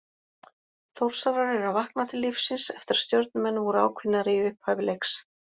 Þórsarar eru að vakna til lífsins eftir að Stjörnumenn voru ákveðnari í upphafi leiks.